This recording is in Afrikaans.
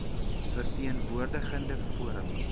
verteen woordigende forums